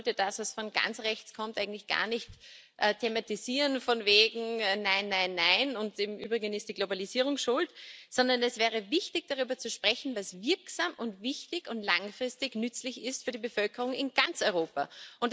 Ich glaube, man sollte das, was von ganz rechts kommt, eigentlich gar nicht thematisieren, von wegen nein, nein, nein, und im Übrigen ist die Globalisierung schuld, sondern es wäre wichtig, darüber zu sprechen, was wirksam und wichtig und langfristig nützlich für die Bevölkerung in ganz Europa ist.